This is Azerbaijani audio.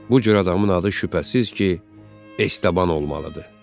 Bu cür adamın adı şübhəsiz ki, Estaban olmalıdır.